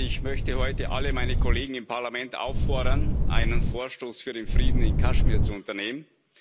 Ich möchte heute alle meine Kollegen im Parlament auffordern, einen Vorstoß für den Frieden in Kaschmir zu unternehmen.